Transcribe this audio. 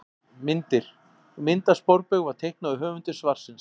Myndir: Mynd af sporbaug var teiknuð af höfundi svarsins.